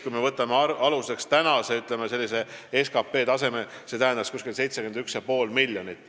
Kui me võtame aluseks praeguse SKT taseme, siis see tähendaks 2019. aastal 71,5 miljonit.